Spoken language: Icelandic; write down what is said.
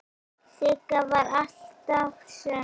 Sigga var alltaf söm.